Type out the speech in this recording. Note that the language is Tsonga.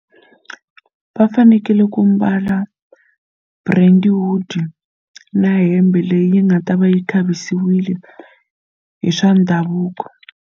Va fanekele ku mbala Brentwood na hembe leyi nga ta va yi khavisiwile hi swa ndhavuko.